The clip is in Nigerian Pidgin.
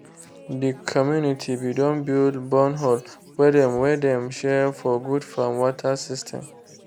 de community be don build bornhole wey dem wey dem share for good farm water system.